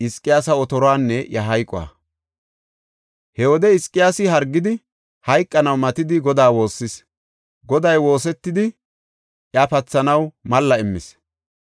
He wode Hizqiyaasi hargidi, hayqanaw matidi Godaa woossis. Goday woosetidi iya pathanaw malla immis.